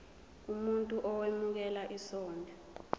umuntu owemukela isondlo